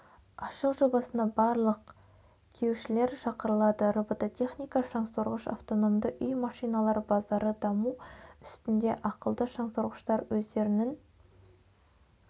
ашық жобасына барлық кеушілер шақырылады робототехника шаңсорғыш автономды үй машиналар базары даму үстінде ақылды шаңсорғыштар өздерінін